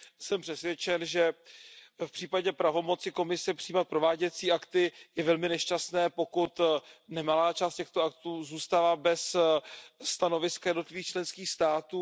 Jsem přesvědčen, že v případě pravomoci Komise přijímat prováděcí akty je velmi nešťastné, pokud nemalá část těchto aktů zůstala bez stanoviska jednotlivých členských států.